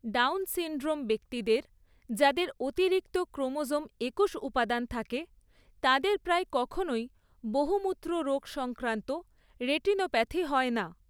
Down syndrome ব্যক্তিদের, যাদের অতিরিক্ত ক্রোমোজোম একুশ উপাদান থাকে, তাদের প্রায় কখনই বহুমূত্ররোগ সংক্রান্ত রেটিনোপ্যাথি হয় না।